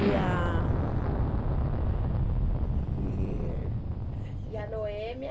E a... E a Noêmia?